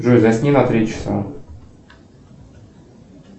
джой засни на три часа